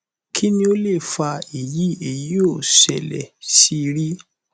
kini o le fa eyi eyi o sele si ri